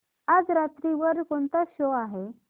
आज रात्री वर कोणता शो आहे